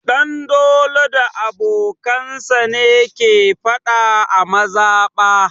Ɗanlado da abokansa ne ke faɗa a mazaɓa.